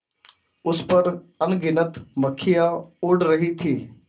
उस पर अनगिनत मक्खियाँ उड़ रही थीं